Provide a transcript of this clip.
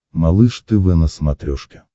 малыш тв на смотрешке